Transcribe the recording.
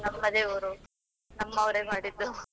ನಮ್ಮದೇ ಊರು, ನಮ್ಮವರೇ ಮಾಡಿದ್ದು.